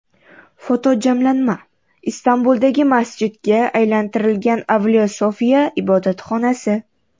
Fotojamlanma: Istanbuldagi masjidga aylantirilgan Avliyo Sofiya ibodatxonasi.